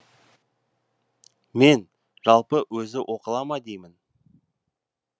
мен жалпы өзі оқыла ма деймін